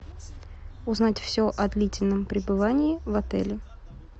узнать все о длительном пребывании в отеле